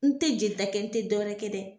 N te jelita kɛ n te dɔ wɛrɛ kɛ dɛ